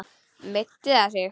Meiddi það sig?